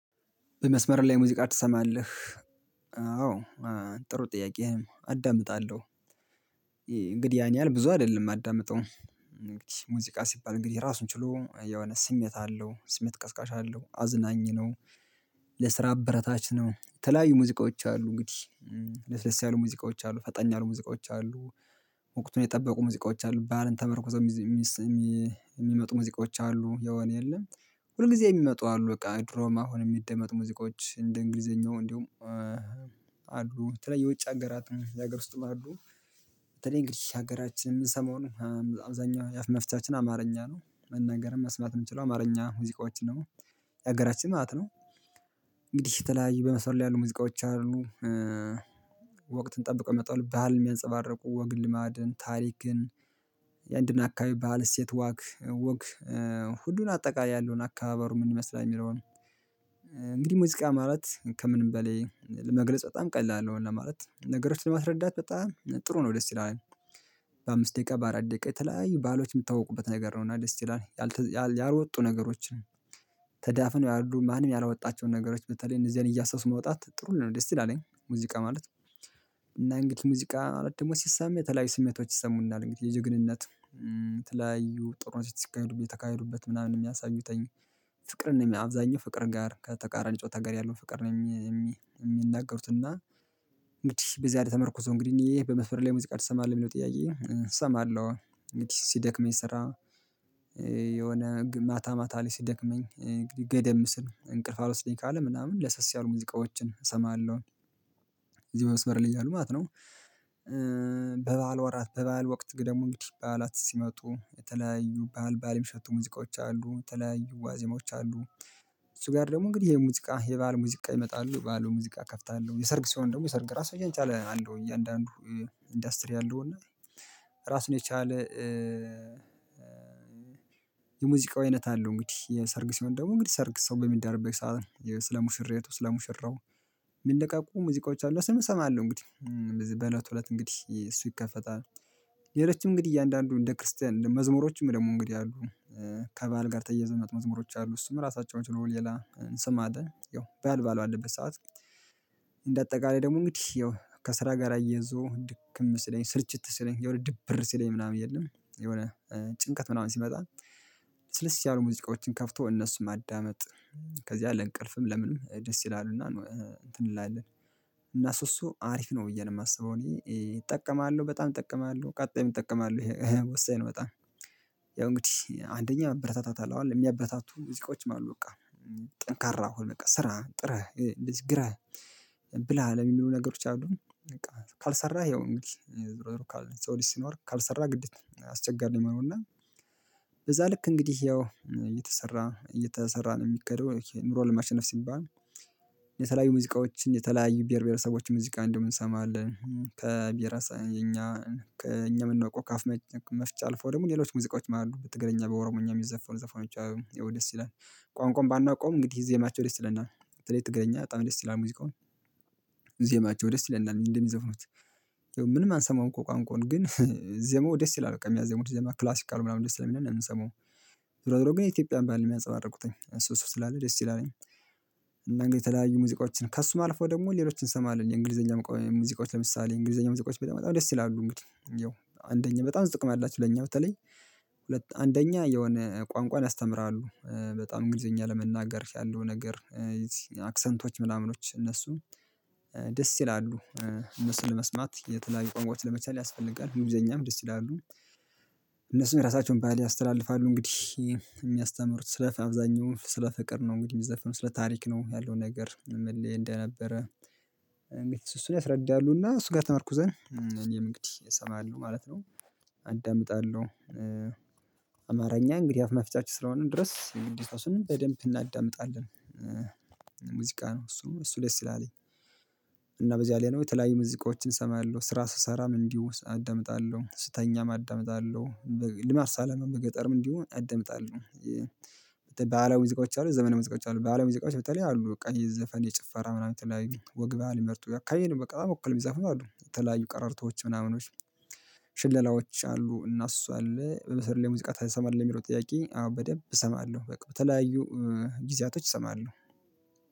በመስመር ላይ ሙዚቃ ትሰማለህ? አዎ ጥሩ ጥያቄህ አዳምጣለሁ እንግዲህ ያን ያህል ብዙ አይደለም የማዳምጠው። ሙዚቃ ሲባል እንግዲህ ራሱን ችሎ የሆነ ስሜት አለው ስሜት ቀስቃሽ አለው አዝናኝ ነው። ለስራ አበረታች ነው ተለያዩ ሙዚቃዎች አሉ እንግዲህ። ለስለስ ያሉ ሙዚቃዎች አሉ ፈጠን ያሉ ሙዚቃዎች አሉ። ወቅቱን የጠበቁ ሙዚቃዎች አሉ ባልን ተመርኩዞ። ሙዚቆች አሉ የሆነ የለም። ሁል ጊዜ የሚመጡ አሉ በቃ ድሮም አሁንም የሚደመጥ ሙዚቆች እንደ እንግሊዘኛው እንዲሁም አሉ በተለይ የውጭ ሀገራት የሀገር ውስጥም አሉ። በተለይ እንግዲህ ሀገራችንን የምንሰማው አብዛኛው መፍቻችን አማርኛ ነው። መናገርም መስማት የምንችለው አማርኛ ሙዚቃዎችን ደግሞ የሀገራችን ማለት ነው። እንግዲህ የተለያየ በመስመር ላይ ያሉ ሙዚቃዎች አሉ። ወቅትን ጠብቀው ይመጣሉ ባህልን የሚያንፀባርቁ ወግ ልማድን ታሪክን የአንድን አካባቢ ባህል እሴት ዋግ ወግ ሁሉን አጠቃላይ ያለውን አከባበር ምን ይመስላል የሚለውን። እንግዲህ ሙዚቃ ማለት ከምንም በላይ ለመግለጽ በጣም ቀላል ነው። ለማለት ነገሮችን ለማስረዳት በጣም ጥሩ ነው ደስ ይላል። በአምስት ደቂቃ በአራት ደቂቃ የተለያዩ ባህሎች የምታውቁበት ነገር ነው። እና ደስ ይላል ያልወጡ ነገሮችን። ተዳፍነው ያሉ ማንም ያላወጣቸውን ነገሮች በተለይ እንደዚህ አይነት እያሰሱ መውጣት ጥሩ ልንል ነው እንዴ ስትል አለኝ ሙዚቃ ማለት። እና እንግዲህ ሙዚቃ ደግሞ ሲሰማ የተለያዩ ስሜቶች ይሰሙናል እንግዲህ የጀግንነት። ተለያዩ ጥሩ ሲተካሄዱ ብዬ ተካሄዱበት ምናምን የሚያሳዩትኝ። ፍቅርን አብዛኛው ፍቅር ጋር ከተቃራኒ ጾታ ጋር ያለው ፍቅር ነው የሚናገሩት እና እና። እንግዲህ በዚላይ ተመርኩዤ ሙዚቃ ደግሞ ሲሰማ የተለያዩ ስሜቶች ይሰሙናል እንግዲህ የጀግንነት። ተለያዩ ጥሩ ሲተካሄዱ ብዬ ተካሄዱበት ምናምን የሚያሳዩት ፍቅርን አብዛኛው ፍቅር ጋር ከተቃራኒ ጨዋታ ጋር ያለው ፍቅር ነኝ የሚናገሩት እና ተዳፍነው ያሉ ማንም ያላወጣቸውን ነገሮች በተለይ። እንደዚህ አይነት እያሰሱ ማውጣት ጥሩ። ልንል ነው ደስ ይላልኝ ሙዚቃ ማለት እና እንግዲህ ሙዚቃ ማለት ደግሞ ሲሰማ። የተለያዩ ስሜቶች ይሰሙናል እንግዲህ የጀግንነት ተለያዩ ጥሩ። ሲተካሄዱ ብዬ ተካሄዱበት ምናምን የሚያሳዩት ፍቅርን አብዛኛው ፍቅር ጋር ከተቃራኒ ጨዋታ ጋር ያለው ፍቅር ነኝ የሚናገሩት እና እንግዲህ በዚህ አይነት ተመርኩዞ። እንግዲህ እኔ በመፍረድ ላይ ሙዚቃ ልሰማለሁ የሚለው ጥያቄ እሰማለሁ ሲደክመኝ ስራ የሆነ ማታ ማታ ላይ ሲደክመኝ እንግዲህ ገደም ስን እንቅልፍ አውርስልኝ ካለ ምናምን ለሰስ ያሉ ሙዚቃዎችን እሰማለሁ እዚህ ወስበር ልጅ ነው ማለት። ነው ሚነቃቁቀ ሙዚቃዎች አሉ እሱን እሰማለሁ እንግዲህ። በለቱ እለት እንግዲህ እሱ ይከፈታል። ሌሎችም እንግዲህ እያንዳንዱ እንደ ክርስቲያን መዝሙሮችም ደግሞ እንግዲህ አሉ። ከባዓል ጋር ተያየዝው ሚመጡ መዝሙሮች አሉ እሱም ራሳቸውን ችለው ሌላ ስም አለ ያው ባዓል ባዓል ባለበት ሰዓት። እንደ አጠቃላይ ደግሞ እንግዲህ ያው ከስራ ጋር የዞ ድክም ስለኝ ስልችት ስለኝ የወነ ድብር ስለኝ ምናምን የለም። የሆነ ጭንቀት ምናምን ሲመጣ ልስልስ ያሉ ሙዚቃዎችን ከፍቶ እነሱን ማዳመጥ። ከዚያ ለእንቅልፍም ለምንም ደስ ይላሉና። እንትን እንላለን። እና እሱ እሱ አሪፍ ነው ብዬ ነው የማስበው እኔ እጠቀማለሁ በጣም እጠቀማለሁ ቀጣይም እጠቀማለሁ ይሄ ወሳኝ ነው በጣም። ያው እንግዲህ አንደኛ በርታት አለው የሚያበታቱ ሙዚቆችም አሉ በቃ። ጠንካራ አሁን በቃ ስራ ጥረህ እንደዚህ ግራህ። ብላ ለሚሉ ነገሮች አሉ በቃ ካልሰራህ ያው እንግዲህ። ሰው ልጅ ሲኖር ካልሰራ ግድ አስቸጋሪ ነው እና። በዛ ልክ እንግዲህ ያው እየተሰራ እየተሰራ ነው የሚከደው ኑሮ ለማሸነፍ ሲባል። የተለያዩ ሙዚቃዎችን የተለያዩ ብሄር ብሄረሰቦችን ሙዚቃ እንዲውም እንሰማለን ከብሄረሰብም እኛ ከ እኛ የምንወቀው ከአፍ መፍቻ አልፈው ደግሞ ሌሎች ሙዚቃዎች አሉ በትግርኛ በኦሮሞኛ የሚዘፈኑ ዘፋኖች። ያወ ድስ ይላል። ቋንቋውን ባናውቀውም እንግዲህ ዜማቸው ደስ ይለናል በተሌ ትግርኛ በጣም ደስ ይላል ሙዚቃውን። ዜማቸው ደስ ይለናል እንደሚዘፍኑት ምንም አንሰማውም እኮ ቋንቋውን ግን ዜማው ደስ ይላል በቃ የሚያዜሙት ደስ ይላል ክላሲክ አለው ምናምን ደስ ስለሚል ነው የምንሰማው። ዞሮ ዞሮ ግን የኢትዮጵያን ባህል ነው የሚያፀባርቁት እሱስ ስላለ ደስ ይላል። እና እንግዲህ የተለያዩ ሙዚቆችን ከእሱ አልፎ ደግሞ ሌሎችን እንሰማለን የእንግሊዘኛ ሙዚቆች ለምሳሌ እንግሊዘኛ ሙዚቆች በጣም ደስ ይላሉ እንግዲህ ያው አንደኛ በጣም ጥቅም አላችው ለኛ በተለይ። አንደኛ የሆነ ቋንቋን ያስተምራሉ በጣም እንግሊዘኛ ለመናገር ያለው ነገር። አክሰንቶች ምናምኖች እነሱ ደስ ይላሉ። እነሱን ለመስማት የተለያዩ ቋኅቋዎች ለመቻል ያስፈልጋል እንጊልዘኛም ደስ ይላሉ። እነሱን የራሳቸውን ባህል ያስተላልፋሉ እንግዲህ የሚያስተምሩት ስለ አብዛኛው ስለ ፍቅር ነው እንግዲህ የሚዘፍነው ስለ ታሪክ ነው ያለው ነገር ምን እንደነበረ? እንዴት እሱን ያስረዳሉና እሱ ጋር ተመርኩዘን እኔም እንግዲህ እሰማለሁ ማለት ነው። አዳምጣለሁ። አማርኛ እንግዲህ አፍ መፍቻችን ስለሆነ ድረስ የግዴታችንን በደንብ እናዳምጣለን። ሙዚቃ ነው እሱ እሱ ደስ ይላል። እና በዚህ አለያን የተለያዩ ሙዚቆችን እሰማለሁ ስራ ስሰራም እንዲሁ አዳምጣለሁ ስተኛም አዳምጣለሁ። ለማት ሳለማም በገጠርም እንዲሆን አዳምጣለሁ። አደምጣለሁ በህላዊ ሙዚቃዎች አሉ ዘመናዊ ሙዚቃዎች አሉ በህላዊ ሙዚቃዎች በተለይ አሉ በቃ የዘፈን የጭፈራ ምናምን የተለያዩ ወግ ባህልን ሚመርጡ አከባቢን በቃ ወክልው የሚዘፍኑ አሉ የተለያዩ ቀረርቶች ምናምኖች። ሽለላዎች አሉ እና እሱ አለ በበሰር ላይ ሙዚቃ ትሰማለህ ለሚለው ጥያቄ? አዎ በደንብ እሰማለሁ በቃ በተለያዩ ጊዜያቶች እሰማለሁ።